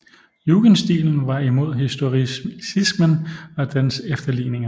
Jugendstilen var imod historicismen og dens efterligninger